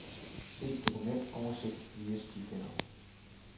Se dokumentoversigt via stifinder.